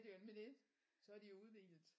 Ja det jo nemlig det så er de jo udhvilet